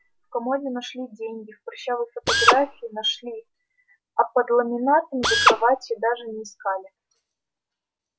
в комоде нашли деньги в прыщавой фотографии нашли а под ламинатом за кроватью даже не искали